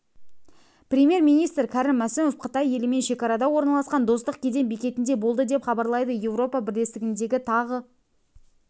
премьер-министр кәрім мәсімов қытай елімен шекарада орналасқан достық кеден бекетінде болды деп хабарлайды еуропа бірлестігіндегі тағы